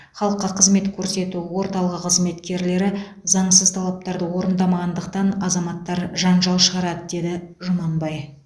халыққа қызмет көрсету орталығы қызметкерлері заңсыз талаптарды орындамағандықтан азаматтар жанжал шығарады деді жұманбай